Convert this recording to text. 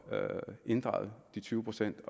inddraget de tyve procent i